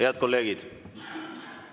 Head kolleegid!